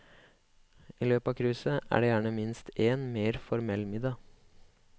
I løpet av cruiset er det gjerne minst én mer formell middag.